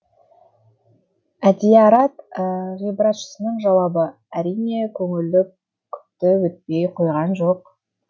әдиярат ғибратшысының жауабы әрине көңілді күпті етпей қойған жоқ